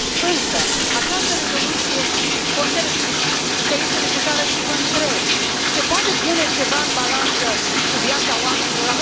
Însă această rezoluție consider că este necesară și vă întreb se poate pune ceva în balanță cu viața oamenilor?